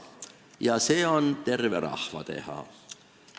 Ja see on terve rahva teha.